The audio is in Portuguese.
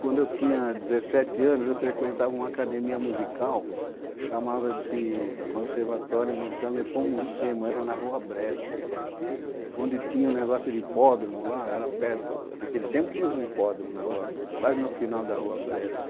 Quando eu tinha dezessete anos, eu frequentava uma academia musical, chamava-se Conservatório Musical Nepomucemo, era na rua Brescia, onde tinha um negócio de hipódromo lá, era perto, naquele tempo teve um hipódromo na rua, quase no final da rua Brescia.